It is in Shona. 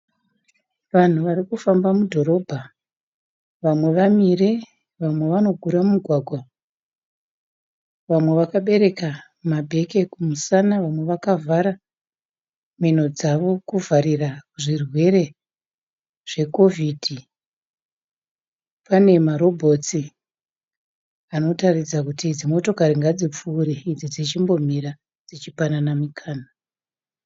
Vanhu vari kufamba mudhorobha vamwe vamire, vamwe vanogura mmugwagwa. vamwe vakaberaka mabeke kumusana vamwe vakavhara mhino kudzivirira zvirwere zveCovid. Pane maRobots anoratidza kuti motokari idzi ngadzipfuure idzi ngadzimire dzichipanana mukana .